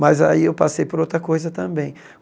Mas aí eu passei por outra coisa também.